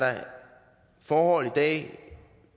forhold i dag